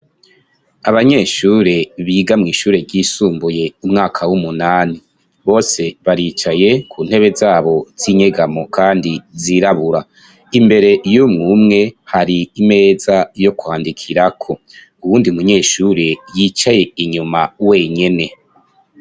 Abanyeshure, biga mw'ishure ryisumbuye, umwaka w'umunani, bose baricaye ku ntebe zabo z'inyegamo, kandi zirabura, imbere y'umwe umwe, hari imeza yo kwandikirako, uwundi munyeshure, yicaye inyuma wenyene.